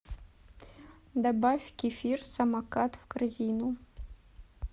добавь кефир самокат в корзину